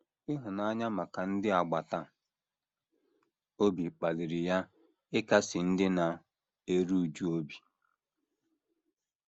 Ịhụnanya maka ndị agbata obi kpaliri ha ịkasi ndị na - eru újú obi.